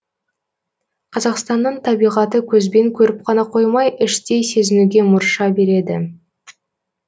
қазақстанның табиғаты көзбен көріп қана қоймай іштей сезінуге мұрша береді